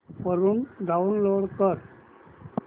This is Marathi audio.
वरून डाऊनलोड कर